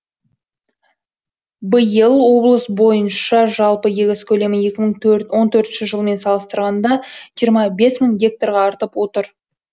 биыл облыс бойынша жалпы егіс көлемі екі мың он төртінші жылмен салыстырғанда жиырма бес мың гектарға артып отыр